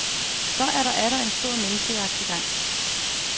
Så er der atter en stor menneskejagt i gang.